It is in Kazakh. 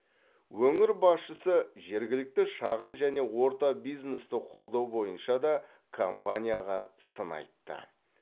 өңір басшысы жергілікті шағын және орта бизнесті қолдау бойынша да компанияға сын айтты